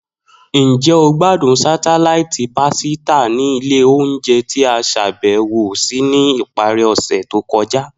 Njẹ o gbadun satelaiti pasita ni ile ounjẹ ti a ṣabẹwo si ni ipari ose to kọja?